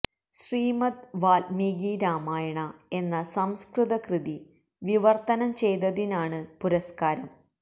ശ്രീമദ് വൽമീകി രാമായണ എന്ന സംസ്കൃത കൃതി വിവർത്തനം ചെയ്തതിനാണ് പുരസ്കാരം